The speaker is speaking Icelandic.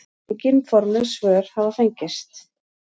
Engin formleg svör hafa fengist.